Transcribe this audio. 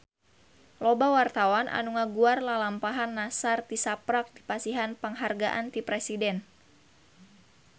Loba wartawan anu ngaguar lalampahan Nassar tisaprak dipasihan panghargaan ti Presiden